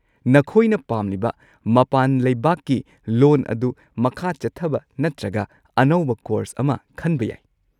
ꯅꯈꯣꯏꯅ ꯄꯥꯝꯂꯤꯕ ꯃꯄꯥꯟ ꯂꯩꯕꯥꯛꯀꯤ ꯂꯣꯟ ꯑꯗꯨ ꯃꯈꯥ ꯆꯠꯊꯕ ꯅꯠꯇ꯭ꯔꯒ ꯑꯅꯧꯕ ꯀꯣꯔꯁ ꯑꯃ ꯈꯟꯕ ꯌꯥꯏ꯫